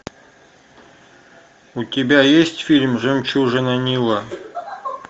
у тебя есть фильм жемчужина нила